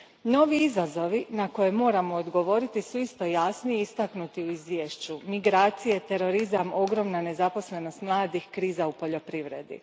Novi izazovi na koje moramo odgovoriti isto su jasni i istaknuti u izvješću migracije, terorizam, ogromna nezaposlenost mladih, kriza u poljoprivredi.